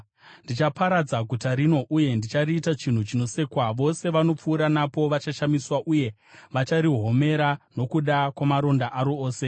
Ndichaparadza guta rino uye ndichariita chinhu chinosekwa; vose vanopfuura napo vachashamiswa uye vacharihomera nokuda kwamaronda aro ose.